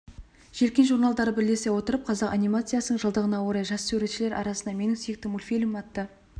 желкен журналдары бірлесе отырып қазақ анимациясының жылдығына орай жас суретшілер арасында менің сүйікті мультфильмім атты